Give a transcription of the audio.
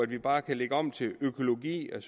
ved bare at lægge om til økologi kan